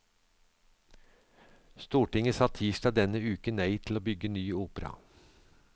Stortinget sa tirsdag denne uke nei til å bygge ny opera.